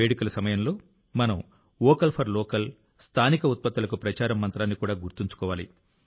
వేడుకల సమయంలో మనం వోకల్ ఫర్ లోకల్ స్థానిక ఉత్పత్తులకు ప్రచారం మంత్రాన్ని కూడా గుర్తుంచుకోవాలి